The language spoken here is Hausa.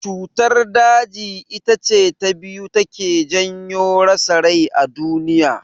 Cutar daji itace ta biyu da take janyo rasa rai a duniya.